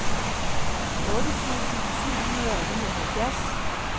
otte tusind syv hundrede og nioghalvfjerds